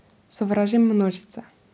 Sovražim množice.